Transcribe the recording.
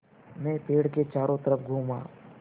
मैं पेड़ के चारों तरफ़ घूमा